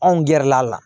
Anw gɛrɛl'a la